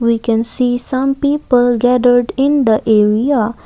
we can see some people gathered in the area.